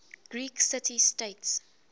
greek city states